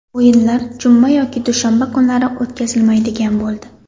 O‘yinlar juma yoki dushanba kunlari o‘tkazilmaydigan bo‘ldi.